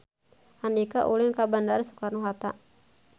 Andika ulin ka Bandara Soekarno Hatta